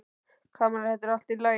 Kamilla, þetta er allt í lagi.